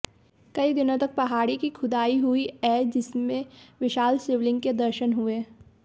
कई दिनों तक पहाड़ी की खुदाई हुईए जिसमे विशाल शिवलिंग के दर्शन हुए